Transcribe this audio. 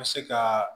Bɛ se ka